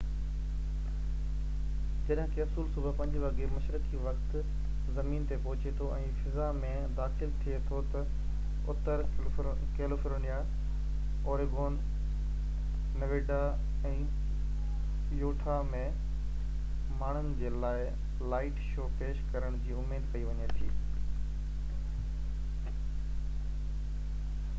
جڏهن ڪئپسول صبح 5 وڳي مشرقي وقت زمين تي پهچي ٿو ۽ فضا ۾ داخل ٿي ٿو ته، اتر ڪيليفورنيا، اوريگون نيواڊا، ۽ يوٽها ۾ ماڻهن جي لاءِ لائٽ شو پيش ڪرڻ جي اميد ڪئي وڃي ٿي